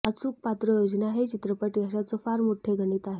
अचूक पात्रयोजना हे चित्रपट यशाचं फार मोठं गणित आहे